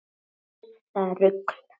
Þeim fannst það rugl